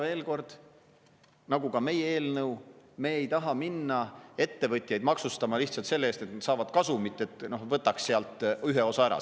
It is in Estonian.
Veel kord: nii nagu meie eelnõu, ei taha ka meie minna ettevõtjaid maksustama lihtsalt selle eest, et nad saavad kasumit, et võtaks sealt ühe osa ära.